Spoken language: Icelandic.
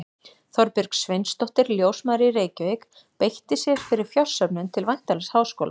Þorbjörg Sveinsdóttir, ljósmóðir í Reykjavík, beitti sér fyrir fjársöfnun til væntanlegs háskóla.